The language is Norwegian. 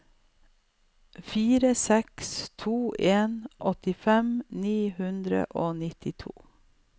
fire seks to en åttifem ni hundre og nittito